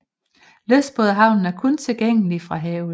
Lystbådehavnen er kun tilgængelig fra havet